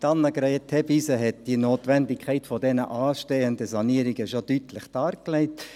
– Annegret Hebeisen hat die Notwendigkeit der anstehenden Sanierungen bereits deutlich dargelegt.